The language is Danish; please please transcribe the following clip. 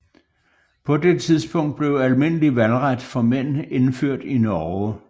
På det tidspunkt blev almindelig valgret for mænd indført i Norge